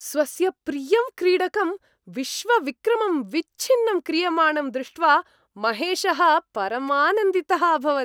स्वस्य प्रियं क्रीडकं विश्वविक्रमं विच्छिन्नं क्रियमाणं दृष्ट्वा महेशः परमानन्दितः अभवत्।